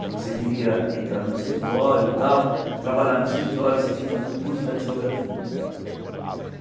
Se você queria entrar num escritório e tal, trabalhar num escritório, você tinha que fazer um curso de datilografia.